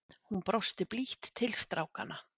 Hún brosti blítt til strákanna.